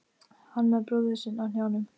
Hann með bróður sinn á hnjánum.